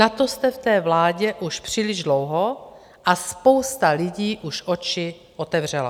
Na to jste v té vládě už příliš dlouho a spousta lidí už oči otevřela.